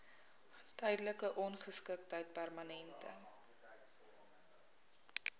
tydelike ongeskiktheid permanente